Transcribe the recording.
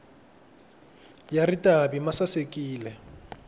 ya ritavi ma sasekile